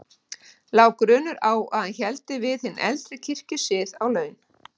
Lá grunur á að hann héldi við hinn eldri kirkjusið á laun.